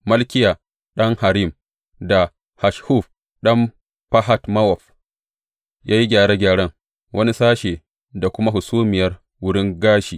Malkiya ɗan Harim, da Hasshub ɗan Fahat Mowab ya yi gyare gyaren wani sashe da kuma Hasumiyar Wurin Gashi.